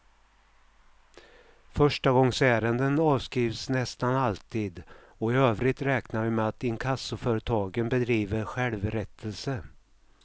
Förstagångsärenden avskrivs nästan alltid och i övrigt räknar vi med att inkassoföretagen bedriver självrättelse.